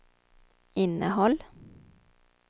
innehåll